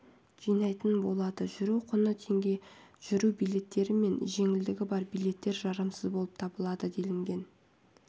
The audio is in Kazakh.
жинайтын болады жүру құны теңге жүру билеттері мен жеңілдігі бар билеттер жарамсыз болып табылады делінген